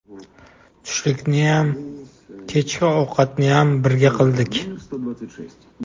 Tushlikniyam, kechki ovqatniyam birga qildik.